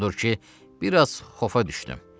Odur ki, biraz xofa düşdüm.